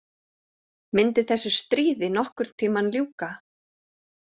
Myndi þessu stríði nokkurn tímann ljúka?